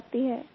बताती हैं